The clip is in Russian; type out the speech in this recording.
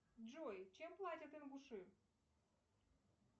джой чем платят ингуши